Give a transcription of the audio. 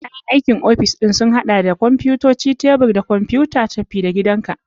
Kayan aiki na ofis sun haɗa da kwamfutocin tebur da kwamfutar tafi-da-gidanka.